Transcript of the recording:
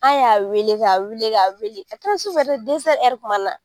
An y'a wele k'a wele k'a wele a kɛra sufɛ tuma na